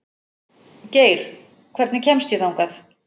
Geir, hvernig kemst ég þangað?